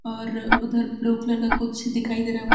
और उधर blue colour का कुछ दिखाई दे रहा है वय--